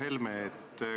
Hea Helme!